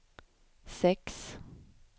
sex